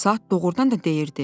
Saat doğurdan da deyirdi: